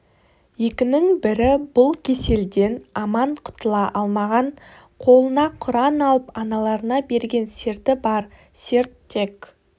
екінің бірі бұл кеселден аман құтыла алмаған қолына құран алып аналарына берген серті бар серт тек